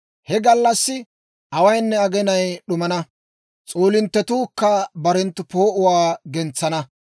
He gallassi awaynne aginay d'umana; s'oolinttetuukka barenttu poo'uwaa gentsana.